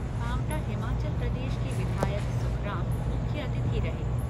पाँवटा हिमाचल प्रदेश के विधायक सुखराम मुख्य अतिथि रहे।